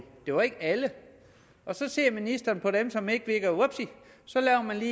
det var ikke alle så ser ministeren på dem som ikke virker og vupti så laver man